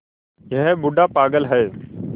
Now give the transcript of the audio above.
यह बूढ़ा पागल है